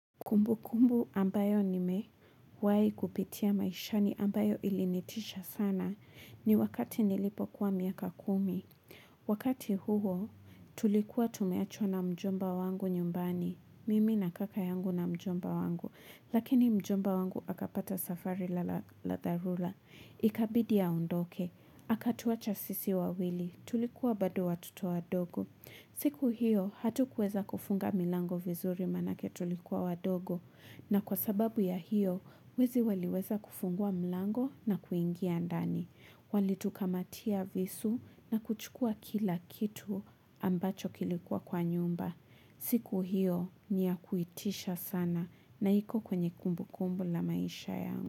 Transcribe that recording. Kumbu kumbu ambayo ni mewai kupitia maishani ambayo ilinitisha sana ni wakati nilipo kuwa miaka kumi. Wakati huo tulikuwa tumeachwa na mjomba wangu nyumbani. Mimi na kaka yangu na mjomba wangu. Lakini mjomba wangu akapata safari ladha la dharula. Ikabidi ye aondoke. Akatuacha sisi wa wili. Tulikuwa bado watoto wadogo. Siku hiyo hatu kweza kufunga milango vizuri mana ketulikuwa wadogo na kwa sababu ya hiyo wezi waliweza kufungua milango na kuingia ndani. Walitukamatia visu na kuchukua kila kitu ambacho kilikuwa kwa nyumba. Siku hiyo niya kuitisha sana na iko kwenye kumbu kumbu la maisha yangu.